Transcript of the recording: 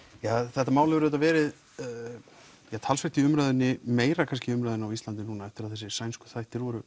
þetta mál hefur verið talsvert í umræðunni meira kannski í umræðunni á Íslandi núna eftir að þættirnir voru